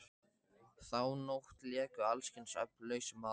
Þá nótt léku alls kyns öfl lausum hala.